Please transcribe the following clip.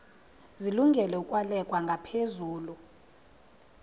zilungele ukwalekwa ngaphezulu